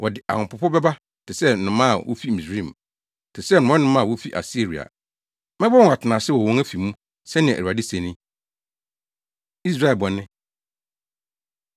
Wɔde ahopopo bɛba te sɛ nnomaa a wofi Misraim, te sɛ mmorɔnoma a wofi Asiria. Mɛbɔ wɔn atenase wɔ wɔn afi mu,” sɛnea Awurade se ni. Israel Bɔne